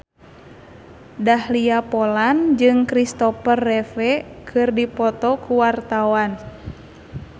Dahlia Poland jeung Christopher Reeve keur dipoto ku wartawan